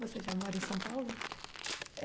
Você já mora em São Paulo?